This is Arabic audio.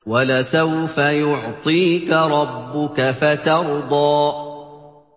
وَلَسَوْفَ يُعْطِيكَ رَبُّكَ فَتَرْضَىٰ